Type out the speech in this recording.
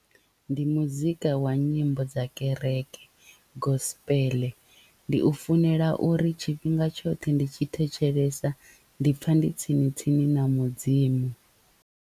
Ndi muzika wa nyimbo dza kereke gospel ndi u funela uri tshifhinga tshoṱhe ndi tshi thetshelesa ndi pfa ndi tsini tsini na mudzimu.